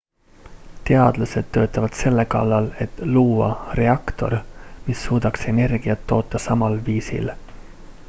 teadlased töötavad selle kallal et luua reaktor mis suudaks energiat toota samal viisil